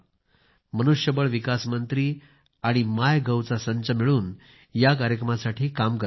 मनुष्य बळ विकास मंत्रालय आणि माय गोव चा संच मिळून ह्या कार्यक्रमासाठी काम करत आहेत